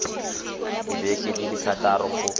dibeke di le thataro go